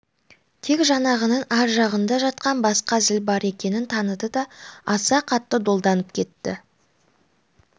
тек жаңағының ар жағында жатқан басқа зіл бар екенін таныды да аса қатты долданып кетті